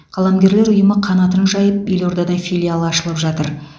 қаламгерлер ұйымы қанатын жайып елордада филиалы ашылып жатыр